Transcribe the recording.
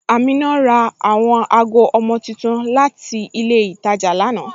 Amina ra awọn agọ ọmọ tuntun láti ilẹ̀ Ìtàjà lánà.